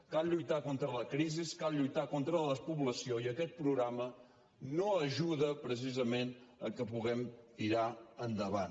cal lluitar contra la crisi cal lluitar contra la despoblació i aquest programa no ajuda precisament al fet que puguem tirar endavant